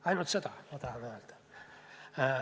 Ainult seda ma tahan öelda.